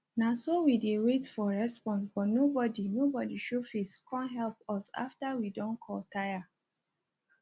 na so we dey wait for response but nobodi nobodi show face kom help us after we don call tire